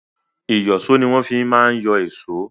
Ìyọ̀ṣó ni wọ́n fi má ń yọ èṣó.